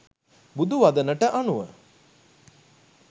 බුදු වදනට අනුව